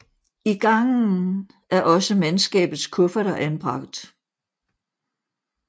I gangen er også mandskabets kufferter anbragt